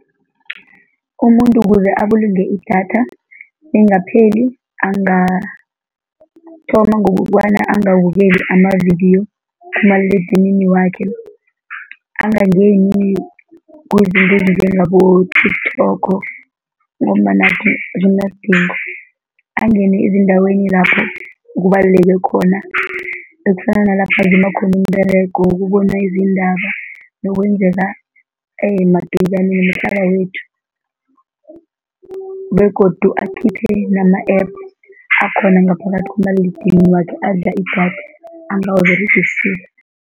Umuntu kuze abulunge idatha lingapheli, angathoma ngokobana angabukeli amavidiyo kumaliledinini wakhe, angangeni kuzinto ezinjengabo-TikTok ngombana kunganasidingo, angane ezindaweni lapho kubaluleko khona, ekufana nalapho azuma khona umberego, ukubona izindaba nokwenzeka kwethu begodu akhiphe nama-app akhona ngaphakathi kumaliledinini wakhe adla idatha angawaberegisiko.